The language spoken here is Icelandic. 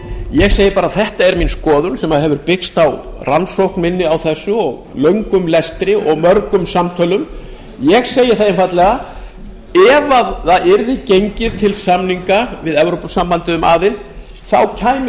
ég segi bara þetta er mín skoðun sem hefur byggst á rannsókn minni á þessu og löngum lestri og mörgum samtölum ég segi það einfaldlega ef yrði gengið til samninga við evrópusambandið um aðild þá kæmi